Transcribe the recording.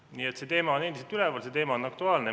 Nii et see teema on endiselt üleval, see teema on aktuaalne.